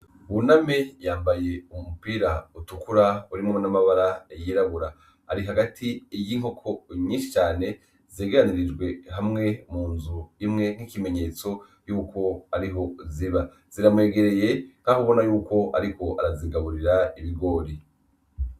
Buname yambaye umupira utukura urimwo n’amabara yirabura. Ari hagati y’inkoko nyinshi cane zegeranirijwe hamwe mu nzu imwe nk’ikimenyetso yuko ariho ziba, ziramwegereye nk’aho ubona yuko ariko arazigaburira ibigori .